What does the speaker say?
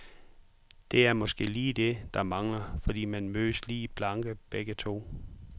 Det er måske lige det, der mangler, fordi man mødes lige blanke begge to.